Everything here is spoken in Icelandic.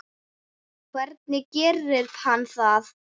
Hvernig gerir hann það?